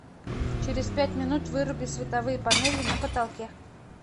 через пять минут выруби световые панели на потолке